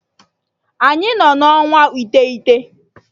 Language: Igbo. Anyị nọ na ọnwa itegụna